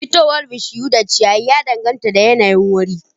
Fitowar bishiyu da ciyaye da dangata da yanayin waje